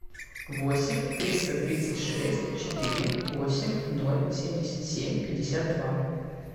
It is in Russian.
восемь триста тридцать шесть четыре восемь ноль семьдесят семь пятьдесят два